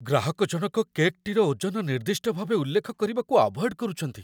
ଗ୍ରାହକଜଣକ କେକ୍‌ଟିର ଓଜନ ନିର୍ଦ୍ଦିଷ୍ଟ ଭାବେ ଉଲ୍ଲେଖ କରିବାକୁ ଆଭଏଡ୍ କରୁଛନ୍ତି।